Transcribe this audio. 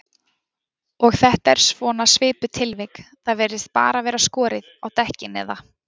Og þetta er svona svipuð tilvik, það bara virðist vera skorið á dekkin eða?